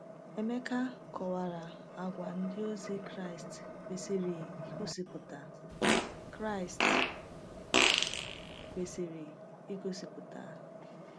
Emeka kọwara àgwà ndị ozi Kraịst kwesịrị igosipụta. Kraịst kwesịrị igosipụta.